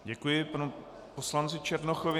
Děkuji panu poslanci Černochovi.